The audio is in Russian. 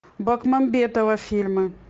бекмамбетова фильмы